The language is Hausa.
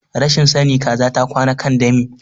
Rashin sani kaza ta kwana akan dami